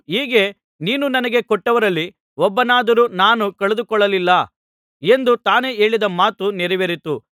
ಹೀಗೆ ನೀನು ನನಗೆ ಕೊಟ್ಟವರಲ್ಲಿ ಒಬ್ಬನನ್ನಾದರೂ ನಾನು ಕಳೆದುಕೊಳ್ಳಲಿಲ್ಲ ಎಂದು ತಾನೇ ಹೇಳಿದ ಮಾತು ನೆರವೇರಿತು